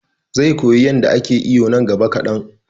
he will learn to swim in the near future